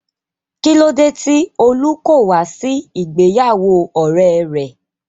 Kílódé tí Olú kò wá sí ìgbéyàwó ọ̀rẹ́e rẹ̀?